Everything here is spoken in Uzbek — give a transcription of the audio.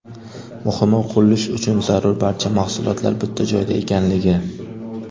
Muhimi, qurilish uchun zarur barcha mahsulotlar bitta joyda ekanligi.